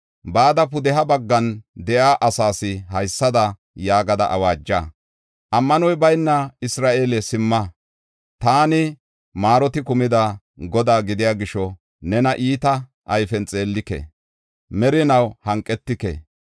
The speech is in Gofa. Bada pudeha baggan de7iya asaas haysada yaagada awaaja: ‘Ammanoy bayna Isra7eele, simma! Taani maaroti kumida Godaa gidiya gisho nena iita ayfen xeellike. Merinaw hanqetike’.